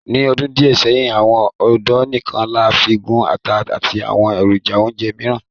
Ni ọdun diẹ sẹhin, awọn ódó nikan làfin gun àtà àti awọn erojà-ounjẹ miiran.